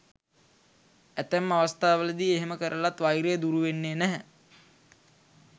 ඇතැම් අවස්ථාවලදී එහෙම කරලත් වෛරය දුරු වෙන්නේ නැහැ.